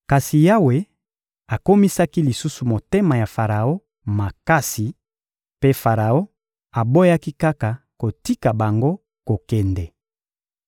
Kasi Yawe akomisaki lisusu motema ya Faraon makasi; mpe Faraon aboyaki kaka kotika bango kokende.